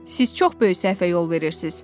Siz çox böyük səhvə yol verirsiz.